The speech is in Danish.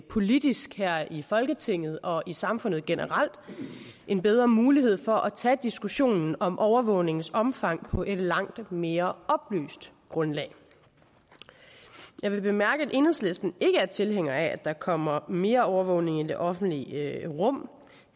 politisk her i folketinget og i samfundet generelt en bedre mulighed for at tage diskussionen om overvågningens omfang på et langt mere oplyst grundlag jeg vil bemærke at enhedslisten ikke er tilhænger af at der kommer mere overvågning i det offentlige rum